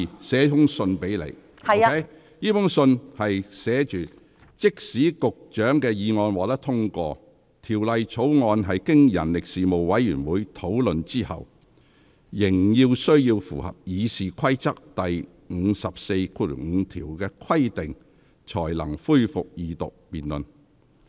信中寫着："即使局長的議案獲得通過，條例草案經人力事務委員會討論後，仍須符合《議事規則》第545條的規定，才能恢復二讀辯論。